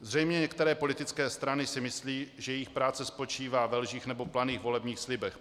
Zřejmě některé politické strany si myslí, že jejich práce spočívá ve lžích nebo planých volebních slibech.